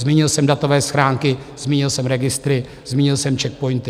Zmínil jsem datové schránky, zmínil jsem registry, zmínil jsem CzechPOINTy.